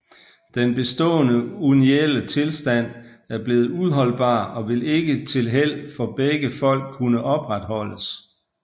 Den bestaaende unionelle Tilstand er bleven uholdbar og vil ikke til Held for begge Folk kunne opretholdes